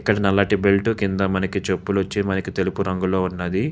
ఇక్కడ నల్లటి బెట్లు కింద వచ్చి మనకి చెప్పులు తెలుపు రంగులో ఉన్నవి.